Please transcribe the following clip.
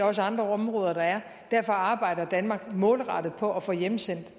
også andre områder der er derfor arbejder danmark målrettet på at få hjemsendt